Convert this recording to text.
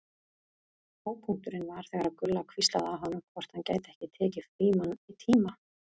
Hápunkturinn var þegar Gulla hvíslaði að honum hvort hann gæti ekki tekið Frímann í tíma.